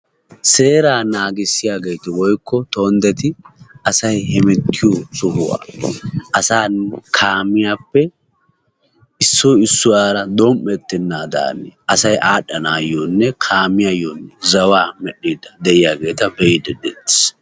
seeraa nagissiyaageeti woykko tondetti asay hemmetiyo ogiyan asaa kaamiyappe issoy issuwara dom'etenaadan zawaa medhiidi de'iyageeta be'eetees.